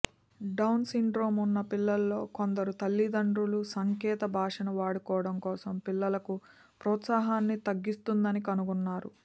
down syndrome ఉన్న పిల్లలలో కొందరు తల్లిదండ్రులు సంకేత భాషను వాడుకోవడం కోసం పిల్లలకు ప్రోత్సాహాన్ని తగ్గిస్తుందని కనుగొన్నారు